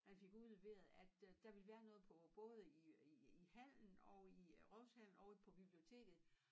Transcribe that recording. Man fik udleveret at øh der ville være noget både på i øh i i hallen og i øh rådhushallen og i på biblioteket